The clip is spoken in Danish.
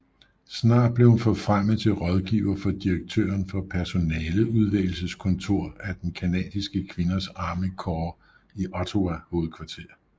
Snart blev hun forfremmet til rådgiver for direktøren for Personaleudvælgelseskontor af den canadiske kvinders Army Corps i Ottawa hovedkvarter